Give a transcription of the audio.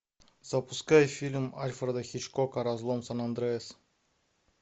запускай фильм альфреда хичкока разлом сан андреас